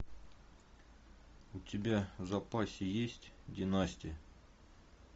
у тебя в запасе есть династия